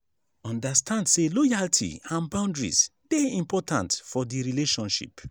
understand say loyalty and boundaries de important for the relationship